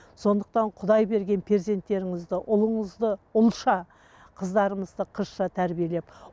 сондықтан құдай берген перзенттеріңізді ұлыңызды ұлша қыздарыңызды қызша тәрбиелеп